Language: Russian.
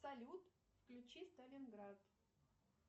салют включи сталинград